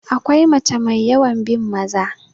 akwai mace mai yawan bin Maza